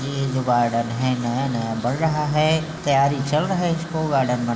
ये जो गार्डन है नया-नया बन रहा है तयारी चल रहा है इसको गार्डन बनाने